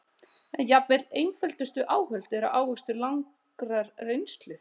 En jafnvel einföldustu áhöld eru ávöxtur langrar reynslu.